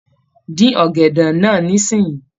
Dín ọ̀gẹ̀dẹ̀ náà nísìnyí.